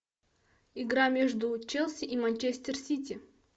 игра между челси и манчестер сити